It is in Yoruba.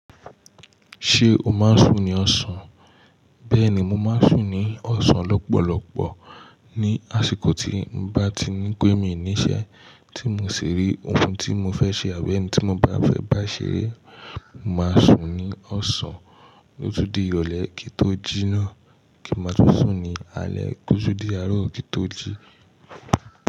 Ṣé o máa ń sùn ní ọ̀sán? Bẹ́ẹ̀ni, mo máa ń sùn ní ọ̀sán lọ́pọ̀lọpọ̀ ní àsìkò tí mo bá ti ní pé mi níṣẹ́ tí mo sì rí ohun tí mo fẹ́ ṣe àbí ẹni tí mo bá fẹ́ bá ṣeré. Mo máa sùn ní ọ̀sán o tun di ìrọ̀lẹ́ kí tó ji ná, kí n má tun sùn ní alẹ́ o tun di aró kí n tó jí.